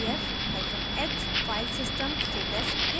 df hyphen h filesystem status देता है